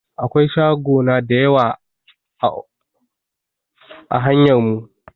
Akwai shagona da yawa a hanyar mu.